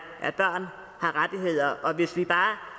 at børn har rettigheder og hvis vi